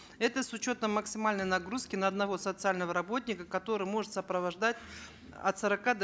это с учетом максимальной нагрузки на одного социального работника который может сопровождать от сорока до